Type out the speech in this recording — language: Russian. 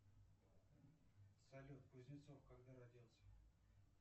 салют кузнецов когда родился